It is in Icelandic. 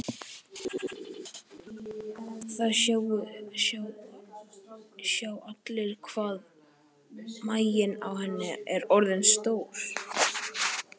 Það sjá allir hvað maginn á henni er orðinn stór.